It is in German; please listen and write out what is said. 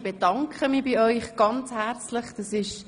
Ich bedanke mich sehr herzlich bei Ihnen: